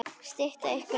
Stytta ykkur leið!